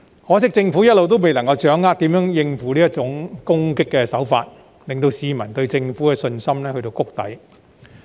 可惜政府一直未能掌握如何應付這種攻擊手法，令市民對政府的信心跌至谷底。